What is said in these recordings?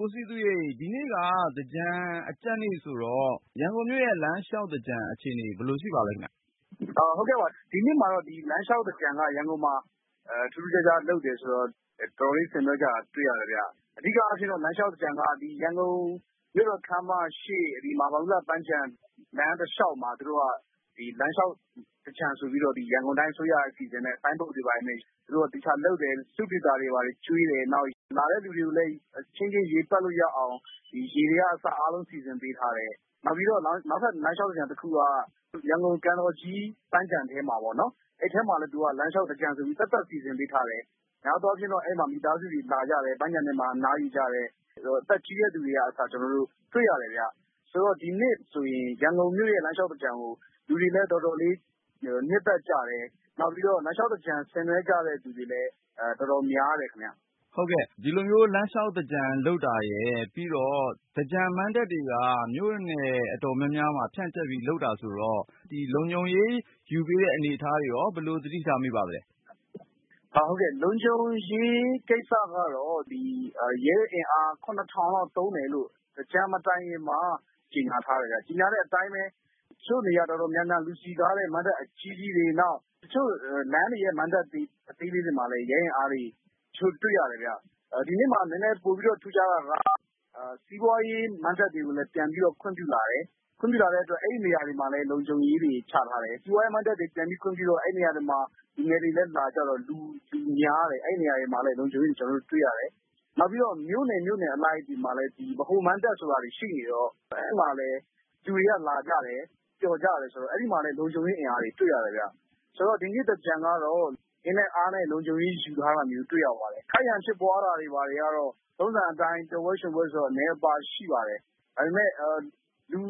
ကိုစည်သူရေ ဒီနေ့က သင်္ကြန်အကြတ်နေ့ဆိုတော့ ရန်ကုန်မြို့ရဲ့ လမ်းလျှောက်သင်္ကြန် အခြေအနေ ဘယ်လို ရှိပါသလဲခင်ဗျ။ ဟုတ်ကဲ့ပါ။ ဒီနှစ်မှာတော့ လမ်းလျှောက်သင်္ကြန်က ရန်ကုန်မှာ ထူးထူးခြားခြား လုပ်တယ်ဆိုတော့ တော်တော်လေး ဆင်နွှဲကြတာ တွေ့ရတယ်ဗျ။ အဓိကအားဖြင့်တော့ လမ်းလျှောက်သင်္ကြန်က ရန်ကုန် မြို့တော်ခမ်းမရှေ့ မဟာဗန္ဓုလပန်းခြံ လမ်းတလျှောက်မှာ သူတို့က ဒီ လမ်းလျှောက်သင်္ကြန် ဆိုပြီးတော့ ရန်ကုန်တိုင်း အစိုးရက စီစဉ်တယ်၊ ဆိုင်းဘုတ်တွေ ဘာတွေနဲ့ သူတို့က သေချာလုပ်တယ်။ စတုဒီသာတွေ ဘာတွေကျွေးတယ်။ နောက် လာတဲ့သူတွေကိုလည်း အချင်းချင်း ရေပက်လို့ရအောင် ရေတွေကအစ အားလုံး စီစဉ်ပေးထားတယ်။ နောက်ပြီး နောက်ထပ် လမ်းလျှောက်သင်္ကြန်တခုက ရန်ကုန် ကန်တော်ကြီး ပန်းခြံထဲမှာပေါ့နော်။ အဲဒီထဲမှာလည်းသူက လမ်းလျှောက်သင်္ကြန်ဆိုပြီး သပ်သပ် စီစဉ်ပေးထားတယ်။ များသောအားဖြင့်တော့ အဲ့ဒီမှာ မိသားစုတွေလာကြတယ်။ ပန်းခြံထဲမှာ အနားယူကြတယ်။ အသက်ကြီးတဲ့သူတွေကအစ ကျနော်တို့ တွေ့ရတယ်။ ဆိုတော့ ဒီနှစ်ဆိုရင် ရန်ကုန်မြို့ရဲ့ လမ်းလျှောက်သင်္ကြန်ကို လူတွေလည်းတော်တော်လေး နှစ်သက်ကြတယ်။ နောက်ပြီး လမ်းလျှောက်သင်္ကြန် ဆင်နွှဲကြတဲ့ သူတွေလည်း တော်တော်များတယ် ခင်ဗျ။ ဟုတ်ကဲ့ ဒီလိုမျိုး လမ်းလျှောက်သင်္ကြန် လုပ်တာရယ်၊ ပြီးတော့ သင်္ကြန်မဏ္ဍပ်တွေက မြို့နယ်အတော်များများမှာ ဖြန့်ကျက်ပြီး လုပ်တာဆိုတော့ လုံခြုံရေးယူပေးတဲ့ အနေအထားတွေရော ဘယ်လိုရှိပါသလဲ။ ဟုတ်ကဲ့၊ လုံခြုံရေးကိစ္စကတော့ ရဲအင်အား လောက် သုံးမယ်လို့ သင်္ကြန်မတိုင်ခင်မှာ ကြေညာထားတယ်။ ကြေညာတဲ့အတိုင်းပဲ တချို့နေရာ အတော်များများ လူစည်ကားတဲ့မဏ္ဍပ် အကြီးကြီးတွေ၊ နောက် လမ်းတွေရဲ့ မဏ္ဍပ်အသေးလေးတွေ မှာလည်း ရဲလုံခြုံရေးချထားတာ တွေ့ရတယ်ဗျ။ ဒီနှစ်မှာ နည်းနည်း ပိုပြီးထူးခြားတာက စီးပွားရေးမဏ္ဍပ်တွေကိုလည်း ပြန်ပြီးတော့ ခွင့်ပြုလာတယ်။ ခွင့်ပြုလာတဲ့အတွက် အဲဒီနေရာတွေမှာလည်း လုံခြုံရေးတွေ ချထားတယ်။ စီးပွားရေးမဏ္ဍပ်တွေမှာ လူငယ်တွေလည်း လာကြတော့ လူကများတယ်။ လုံခြုံရေးတွေကို အဲဒီနေရာတွေမှာ တွေ့ခဲ့ရတယ်။ နောက်ပြီး မြို့နယ်အလိုက်တွေမှာလည်း ဗဟိုမဏ္ဍပ် ဆိုတာတွေ ရှိနေတော့ အဲ့မှာလည်း လူတွေကလာကြတယ် ပျော်ကြတာဆိုတော့ အဲ့ဒီမှာလည်း လုံခြုံရေးချထားတာ တွေ့ရတယ်။ ဆိုတော့ ဒီနှစ်သင်္ကြန်ကတော့ အင်နဲအားနဲ့ လုံခြုံရေးယူထားတာမျိုး တွေ့ရပါတယ်။ ခိုက်ရန်ဖြစ်ပွားတာတွေ ဘာတွေကတော့ ပျော်ပွဲရွှင်ပွဲဆိုတော့ ထုံးစံအတိုင်း အနည်းအပါး ရှိပါတယ်။ ဒါပေမဲ့ လူ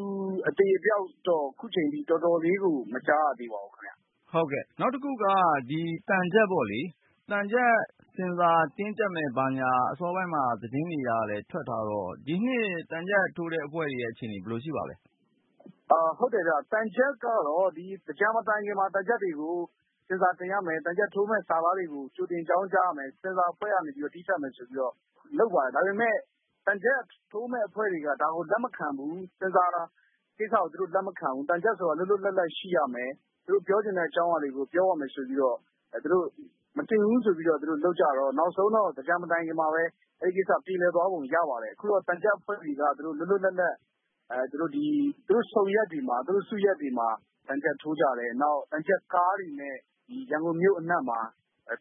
အသေအပျောက်တော့ အခုချိန်ထိ တော်တော်လေးကို မကြားရသေးပါဘူးခင်ဗျ။ ဟုတ်ကဲ့၊ နောက်တခုက ဒီသံချပ်ပေါ့လေ။ သံချပ်ကို ဆင်ဆာတင်းကြပ်မယ် ဘာညာ အစောပိုင်းမှာ သတင်းတွေကလည်း ထွက်ထားတော့ ဒီနှစ် သံချပ်ထိုးတဲ့အဖွဲ့တွေရဲ့ အခြေအနေ ဘယ်လိုရှိပါသလဲ။ ဟုတ်တယ်ဗျ၊ သံချပ်ကတော့ ဒီသင်္ကြန်မတိုင်ခင်မှာ သံချပ်တွေကို ဆင်ဆာတင်ရမယ်၊ သံချပ်ထိုးမယ့် စာသားတွေကို ကြိုတင် အကြောင်းကြားရမယ် ဆင်ဆာအဖွဲ့ကနေ တည်းဖြတ်မယ်ဆိုပြီးတော့ လုပ်ပါတယ်။ ဒါပေမယ့် သံချပ်ထိုးမယ့်အဖွဲ့တွေက ဒါကိုလက်မခံဘူး၊ ဆင်ဆာကိစ္စကို သူတို့လက်မခံဘူး.. သံချပ်ဆိုတာ လွတ်လွတ်လပ်လပ် ရှိရမယ် သူတို့ပြောချင်တဲ့ အကြောင်းအရာတွေကို ပြောရမယ်ဆိုပြီးတော့… သူတို့ မတင်ဘူးဆိုပြီးတော့ လုပ်ကြတော့ နောက်ဆုံးတော့ သင်္ကြန်မတိုင်ခင်မှာပဲ အဲဒီကိစ္စ ပြေလည်သွားပုံ ရပါတယ်။ အခုတော့ သံချပ်အဖွဲ့တွေက လွတ်လွတ်လပ်လပ် သူတို့ဆုံရပ်တွေမှာ စုရပ်တွေမှာ သံချပ်ထိုးကြတယ်။ နောက် သံချပ်ကားတွေနဲ့ ရန်ကုန်မြို့အနှံ့မှာ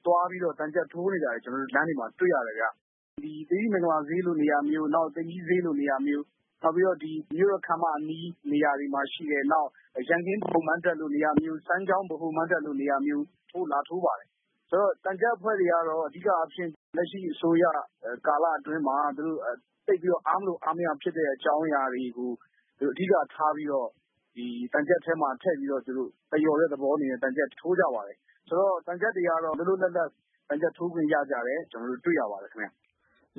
သွားပြီးတော့ သံချပ်ထိုးနေတာတွေကို ကျနော်တို့ လမ်းတွေမှာ တွေ့ရတယ်။ ဒီ သီရိမင်္ဂလာဈေးလို နေရာမျိုး၊ သိမ်ကြီးဈေးလိုနေရာမျိုး နောက်ပြီး မြို့တော်ခမ်းမအနီး နေရာတွေမှာရှိတယ်။ နောက် ရန်ကင်း ဗဟိုမဏ္ဍပ်လိုနေရာမျိုး စမ်းချောင်း ဗဟိုမဏ္ဍပ်လိုနေရာမျိုးမှာ သူတို့လာထိုးပါတယ်။ ဆိုတော့ သံချပ်အဖွဲ့တွေကတော့ အဓိကအားဖြင့် လက်ရှိအစိုးရကာလ အတွင်းမှာ သူတို့ သိပ်ပြီးတော့ အားမလို အားမရဖြစ်တဲ့ အကြောင်းအရာတွေကို အဓိကထားပြီးတော့ သံချပ်ထဲမှာထည့်ပြီးတော့ သရော်တဲ့သဘောအနေနဲ့ သံချပ်ထိုးကြပါတယ်။ ဆိုတော့ သံချပ်တွေကတော့ လွတ်လွတ်လပ်လပ် သံချပ်ထိုးခွင့်ရတာကို ကျနော်တို့ တွေ့ရပါတယ်ခင်ဗျား။